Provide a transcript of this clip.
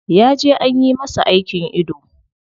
Ya je anyi masa aikin ido.